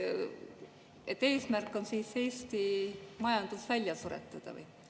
Kas eesmärk on Eesti majandus välja suretada?